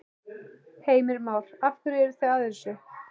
Heimir Már: Af hverju eru þið að þessu?